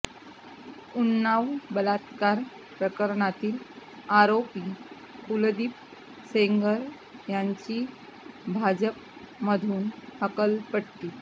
उन्नाव बलात्कार प्रकरणातील आरोपी कुलदीप सेंगर यांची भाजपमधून हकालपट्टी